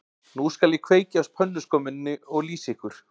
Nú skal ég kveikja á pönnuskömminni og lýsa ykkur